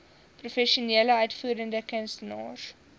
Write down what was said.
professionele uitvoerende kunstenaars